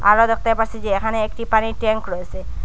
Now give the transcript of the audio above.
আরো দেখতে পাচ্ছি যে এখানে একটি পানির ট্যাংক রয়েসে।